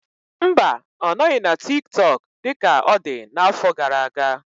Mba, ọ nọghị na TikTok dị ka ọ dị n'afọ gara aga.